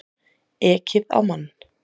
Ekið á mann